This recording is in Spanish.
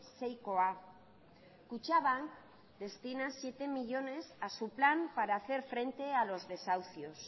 seikoa kutxabank destina siete millónes a su plan para hacer frente a los desahucios